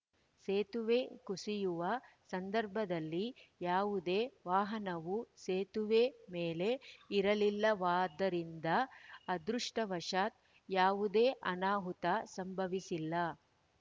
ಸೇತುವೆ ಕುಸಿಯುವ ಸಂದರ್ಭದಲ್ಲಿ ಯಾವುದೇ ವಾಹನವೂ ಸೇತುವೆ ಮೇಲೆ ಇರಲಿಲ್ಲವಾದದ್ದರಿಂದ ಅದೃಷ್ಟವಶಾತ್‌ ಯಾವುದೇ ಅನಾಹುತ ಸಂಭವಿಸಿಲ್ಲ